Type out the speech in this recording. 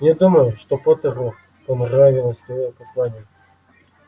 не думаю что поттеру понравилось твоё послание